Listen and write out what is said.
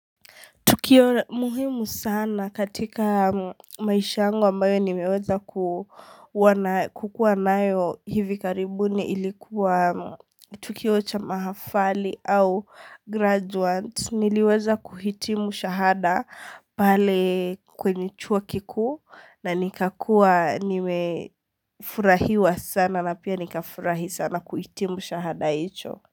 Tukio muhimu sana katika maisha yangu ambayo nimeweza kuwa nayo kukuwa nayo hivi karibuni ilikuwa tukio cha mahafali au graduant niliweza kuhitimu shahada pale kwenye chuo kikuu na nikakuwa nimefurahiwa sana na pia nikafurahi sana kuhitimu shahada hicho.